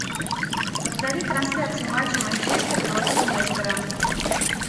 повтори трансляцию матча манчестер против лестера